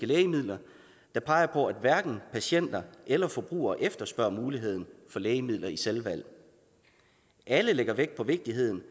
lægemidler der peger på at hverken patienter eller forbrugere efterspørger muligheden for lægemidler i selvvalg alle lægger de vægt på vigtigheden